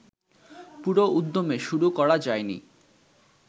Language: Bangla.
পুরো উদ্যমে শুরু করা যায়নি